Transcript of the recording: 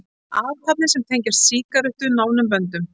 Athafnir, sem tengjast sígarettu nánum böndum.